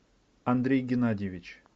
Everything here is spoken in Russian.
андрей геннадьевич